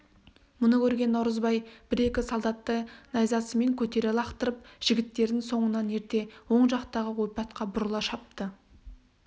мұны көрген наурызбай бір-екі солдатты найзасымен көтере лақтырып жігіттерін соңынан ерте оң жақтағы ойпатқа бұрыла шапты